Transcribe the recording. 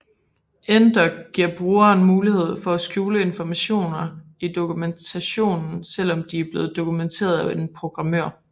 NDoc giver brugeren mulighed for at skjule informationer i dokumentationen selvom de er blevet dokumenterede af en programmør